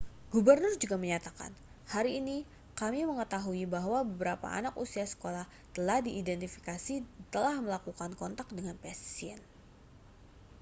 gubernur juga menyatakan hari ini kami mengetahui bahwa beberapa anak usia sekolah telah diidentifikasi telah melakukan kontak dengan pasien